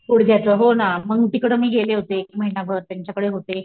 गुडग्याचं हो ना म्हणून तिकडे मी गेले होते एक महिना भर त्यांच्याकडे होते.